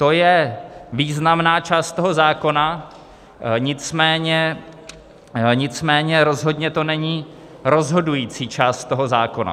To je významná část toho zákona, nicméně rozhodně to není rozhodující část toho zákona.